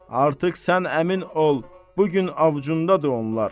Artıq sən əmin ol, bu gün avcundadır onlar.